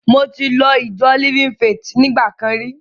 Mo ti lọ ìjọ Living Faith nígbà kan rí.